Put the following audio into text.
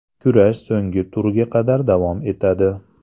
Kurash so‘nggi turga qadar davom etadi.